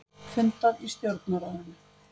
Fundað í Stjórnarráðinu